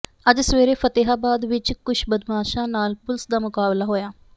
ਅੱਜ ਸਵੇਰੇ ਫਤਿਹਾਬਾਦ ਵਿੱਚ ਕੁਝ ਬਦਮਾਸ਼ਾਂ ਨਾਲ ਪੁਲਿਸ ਦਾ ਮੁਕਾਬਲਾ ਹੋਇਆ